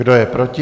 Kdo je proti?